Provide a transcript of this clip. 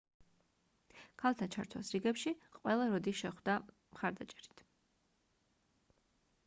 ქალთა ჩართვას რიგებში ყველა როდი შეხვდა მხარდაჭერით